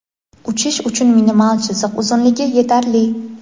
Uchish uchun minimal chiziq uzunligi yetarli.